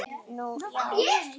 Nú, já.